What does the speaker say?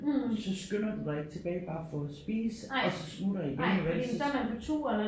Så skynder du dig ikke tilbage bare for at spise og så smutter igen vel så